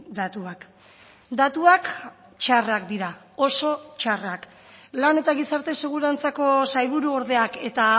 datuak datuak txarrak dira oso txarrak lan eta gizarte segurantzako sailburuordeak eta